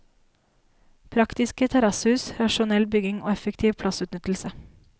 Praktiske terrassehus, rasjonell bygging og effektiv plassutnyttelse.